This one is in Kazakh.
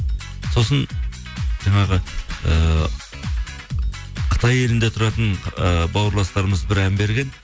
сосын жаңағы ыыы қытай елінде тұратын ыыы бауырластарымыз бір ән берген